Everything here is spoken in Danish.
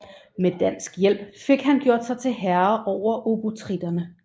Med dansk hjælp fik han gjort sig til herre over obotritterne